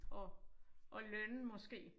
At at lønne måske